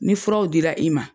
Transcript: Ni furaw dira i ma.